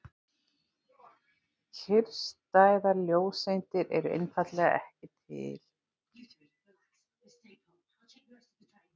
Kyrrstæðar ljóseindir eru einfaldlega ekki til.